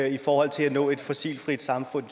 i forhold til at nå et fossilfrit samfund